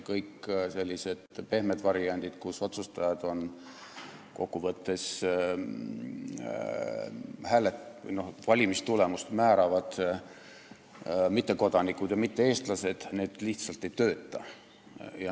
Kõik sellised pehmed variandid, mille puhul otsustajad on kokku võttes valimistulemust määravad mittekodanikud ja mitte-eestlased, lihtsalt ei tööta.